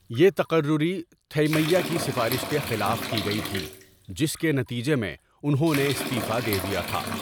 یہ تقرری تھیمَیّا کی سفارش کے خلاف کی گئی تھی جس کے نتیجے میں انہوں نے استعفا دے دیا تھا۔